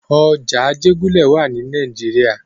Ọjà Ajégúnlẹ̀ wà ní nàìjíría.